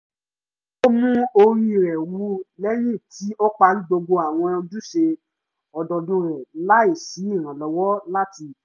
ó mú orí rẹ̀ wú lẹ́yìn tí ó parí gbogbo àwọn ojúṣe ọdọọdún rẹ̀ láì sí ìrànlọ́wọ́ láti ìta